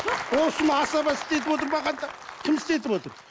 осыны асаба істетіп отырмағанда кім істетіп отыр